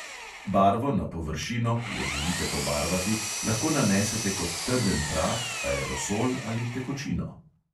Barvo na površino, ki jo želite pobarvati, lahko nanesete kot trden prah, aerosol ali tekočino.